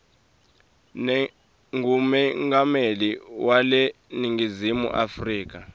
ngumengameli weleningizimu afrika